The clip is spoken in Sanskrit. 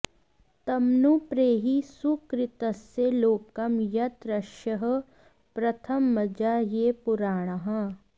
तमनु॒ प्रेहि॑ सुकृ॒तस्य॑ लो॒कं यत्रर्ष॑यः प्रथम॒जा ये पु॑रा॒णाः